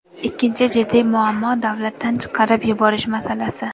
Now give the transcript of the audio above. Ikkinchi jiddiy muammo davlatdan chiqarib yuborish masalasi.